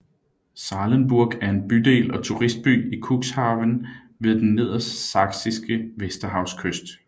Sahlenburg er en bydel og turistby i Cuxhaven ved den nedersaksiske Vesterhavskyst